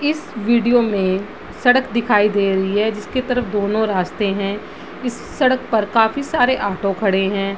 इस वीडियो मे सड़क दिखाई दे रही है जिसके तरफ दोनों रास्ते हैं | इस सड़क पर काफी सारे ऑटो खड़े हैं